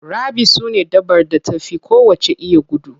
Cheaters sune dabbar da ta fi kowacce iya gudu.